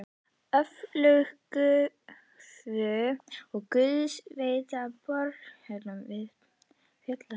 Öflun gufu og gufuveita frá borholum var í höndum jarðhitadeildar.